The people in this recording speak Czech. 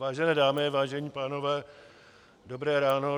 Vážené dámy, vážení pánové, dobré ráno.